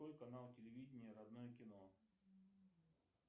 канал телевидения родное кино